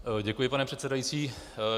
Děkuji, pane předsedající.